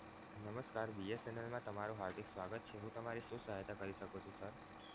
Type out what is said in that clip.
નમસ્કાર BSNL માં તમારું હાર્દિક સ્વાગત છે હું તમારી શું સહાયતા કરી શકું છું? sir